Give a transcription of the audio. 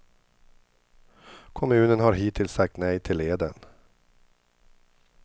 Kommunen har hittills sagt nej till leden.